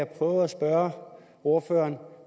prøve at spørge ordføreren